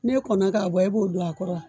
Ni e kɔna ka bɔ e b'o don a kɔrɔ wa?